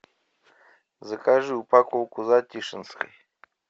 закажи упаковку затишинской